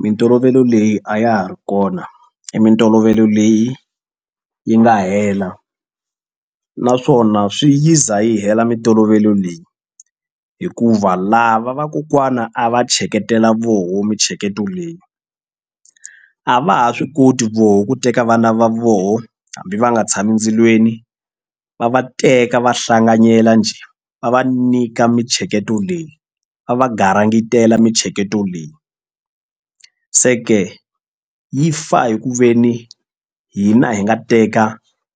Mintolovelo leyi a ya ha ri kona i mintolovelo leyi yi nga hela naswona swi yi za yi hela mintolovelo leyi hikuva lava vakokwana a va tsheketela voho mintsheketo leyi a va ha swi koti voho ku teka vana va vona hambi va nga tshami ndzilweni va va teka va hlanganyela njhe va va nyika mintsheketo leyi va va garingetela mintsheketo leyi se ke yi fa hi ku ve ni hina hi nga teka